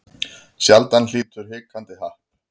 Sjaldan hlýtur hikandi happ.